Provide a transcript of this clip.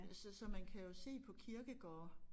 Så så man kan jo se på kirkegårde